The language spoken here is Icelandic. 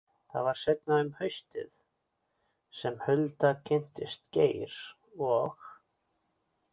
Það var seinna um haustið sem Hulda kynntist Geir og